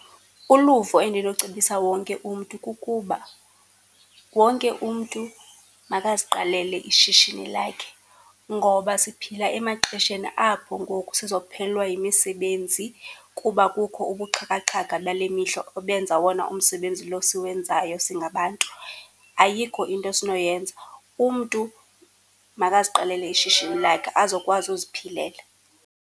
Uluvo endinocebisa wonke umntu kukuba wonke umntu makaziqalele ishishini lakhe ngoba siphila emaxesheni apho ngoku sizophelelwa yimisebenzi kuba kukho ubuxhakaxhaka bale mihla obenza wona umsebenzi lo siwenzayo singabantu. Ayikho into esinoyenza, umntu makaziqalele ishishini lakhe azokwazi uziphilela.